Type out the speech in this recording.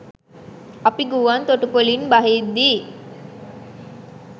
අපි ගුවන් තොටුපොළින් බහිද්දී